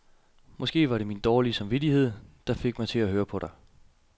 Måske var det min dårlige samvittighed, der fik mig til at høre på dig.